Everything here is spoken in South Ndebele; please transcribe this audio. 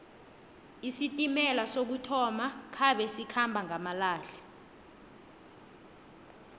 isitimela sokuthoma khabe sikhamba ngamalehle